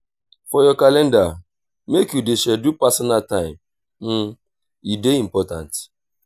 for your calender make you dey schedule personal time e dey important.